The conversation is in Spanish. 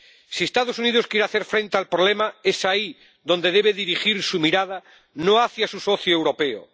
Si los Estados Unidos quieren hacer frente al problema es ahí donde deben dirigir su mirada, no hacia su socio europeo.